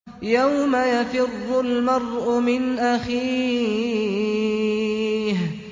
يَوْمَ يَفِرُّ الْمَرْءُ مِنْ أَخِيهِ